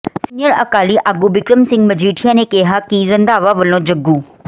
senior Akali ਆਗੂ ਬਿਕਰਮ ਸਿੰਘ ਮਜੀਠੀਆ ਨੇ ਕਿਹਾ ਹੈ ਕਿ ਰੰਧਾਵਾ ਵੱਲੋਂ ਜੱਗੂ